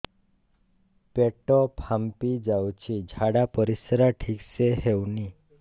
ପେଟ ଫାମ୍ପି ଯାଉଛି ଝାଡ଼ା ପରିସ୍ରା ଠିକ ସେ ହଉନି